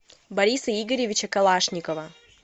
бориса игоревича калашникова